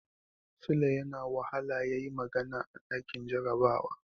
Sule yana wahala yayi magana a ɗakin jarabawa.